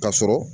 Ka sɔrɔ